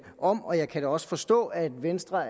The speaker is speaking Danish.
om og jeg kan da også forstå at venstre